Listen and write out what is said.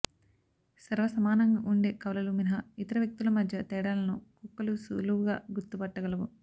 సర్వసమానంగా ఉండే కవలలు మినహా ఇతర వ్యక్తుల మధ్య తేడాలను కుక్కలు సులువుగా గుర్తుపట్ట గలవు